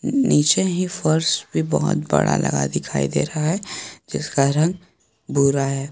नीचे ही फर्श पे बहुत बड़ा लगा दिखाई दे रहा है जिसका रंग भूरा है।